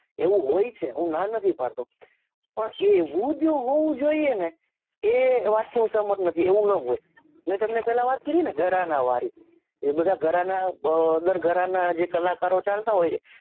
એવું હોય છે હું ના નથી પાડતો પણ એ એવું જ હોવું જોઈએ ને એ વાતથી હુસહ્મત નથી એવું ના હોય મેં પહલા વાત કરીને ગરાના વારી એબધા ગરાના અ દર ગરાના જે કલાકારો છે ચાલતા હોય છે